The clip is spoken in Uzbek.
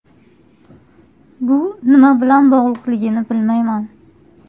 Bu nima bilan bog‘liqligini bilmayman.